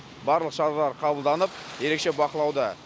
барлық шаралар қабылданып ерекше бақылауда